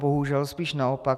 Bohužel, spíše naopak.